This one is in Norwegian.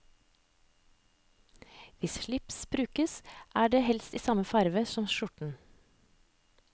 Hvis slipset brukes, er det helst i samme farve som skjorten.